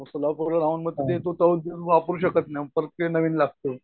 मग सोलापूर वर राहून वापरू शकत नाही मग परत ते नवीन लागतं.